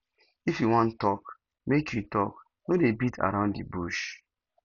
if you wan tok make you tok no dey beat around di bush